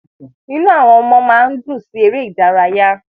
Inú àwọn ọmọ máa ń dùn sí ère idaraya